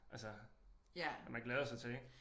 Altså at man glæder sig til ik